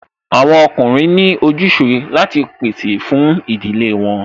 Àwọn ọkùnrin ní ojúse láti pèsè fún ìdílé wọn